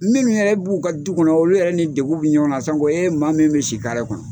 Minnu yɛrɛ b'u ka du kɔnɔ olu yɛrɛ ni degun bɛ ɲɔgɔn na sanko e maa min bɛ si kare kɔnɔ.